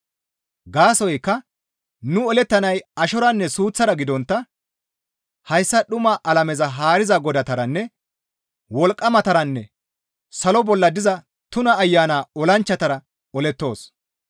Gaasoykka nu olettanay ashoranne suuththara gidontta hayssa dhuma alameza haariza godatara, wolqqamataranne salo bolla diza tuna ayana olanchchatara olettoos.